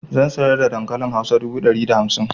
Zan saida dankalin hausar dubu dari da hamsin